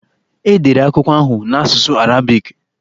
E dere akwụkwọ ahụ n'asụsụ Arabiki.